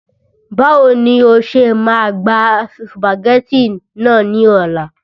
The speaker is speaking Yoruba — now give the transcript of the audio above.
Báwo ni o ṣe máa gba sùpàgẹ́tì náà ní ọ̀la